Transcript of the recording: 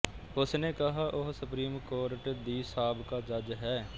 ਉਸ ਨੇ ਕਿਹਾ ਉਹ ਸੁਪਰੀਮ ਕੋਰਟ ਦੀ ਸਾਬਕਾ ਜੱਜ ਹੈ